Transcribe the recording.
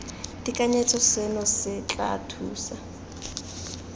tekanyetso seno se tla thusa